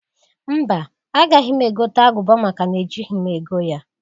Mba! Agaghị m egota agụba maka na-ejighi m ego ya.